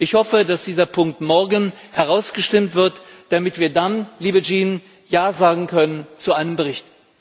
Ich hoffe, dass dieser Punkt morgen herausgestimmt wird, damit wir dann, liebe Jean, Ja sagen können zu einem Bericht.